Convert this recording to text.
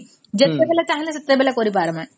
ଯେତେବଳେ ଚାହିଁଲେ ସେତେବଳେ କରି ପାରିବେ